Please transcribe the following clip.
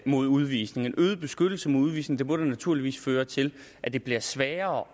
mod udvisning en øget beskyttelse mod udvisning må da naturligvis føre til at det bliver sværere